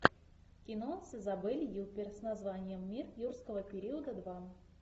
кино с изабель юппер с названием мир юрского периода два